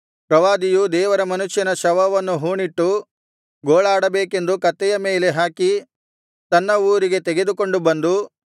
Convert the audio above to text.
ಪ್ರವಾದಿಯು ದೇವರ ಮನುಷ್ಯನ ಶವವನ್ನು ಹೂಣಿಟ್ಟು ಗೋಳಾಡಬೇಕೆಂದು ಕತ್ತೆಯ ಮೇಲೆ ಹಾಕಿ ತನ್ನ ಊರಿಗೆ ತೆಗೆದುಕೊಂಡು ಬಂದು